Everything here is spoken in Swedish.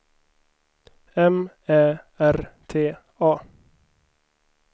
M Ä R T A